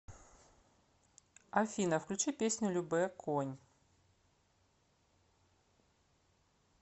афина включи песню любэ конь